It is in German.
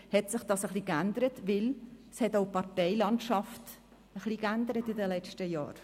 Das hat sich deshalb geändert, weil sich auch die Parteienlandschaft in den letzten Jahren ein wenig verändert hat.